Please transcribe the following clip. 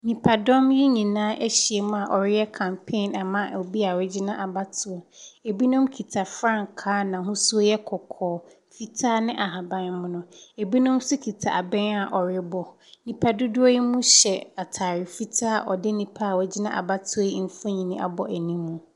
Nnipadɔm yi nyinaa ahyia mu a wɔreyɛ campaign ama obi a wɔgyina abatoɔ. Binom kita frankaa a an'ahosuo yɛ kɔkɔɔ, fitaa ne ahabammono. Binom nso kita abɛn a wɔrebɔ. Nnipa dodoɔ yinom yɛ atade fitaa a wɔde nnipa a wagyina abatoɔ yi mfonin abɔ anim.